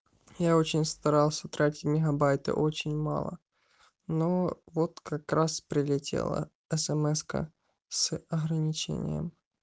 я очень старался тратить мегабайты очень мало но вот как раз прилетела смска с ограничением